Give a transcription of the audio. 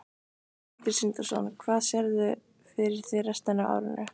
Sindri Sindrason: Hvernig sérðu fyrir þér restina af árinu?